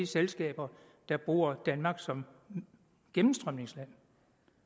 selskaber der bruger danmark som gennemstrømningsland